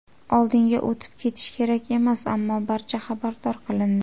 Oldinga o‘tib ketish kerak emas, ammo barcha xabardor qilindi.